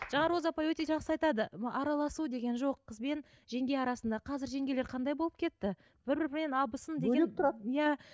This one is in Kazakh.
жаңа роза апай өте жақсы айтады араласу деген жоқ қызбен жеңге арасында қазір жеңгелер қандай болып кетті бір біріне абысын деген бөлек тұрады иә